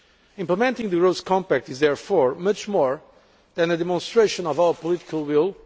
Implementing the growth compact is, therefore, much more than a demonstration of our political will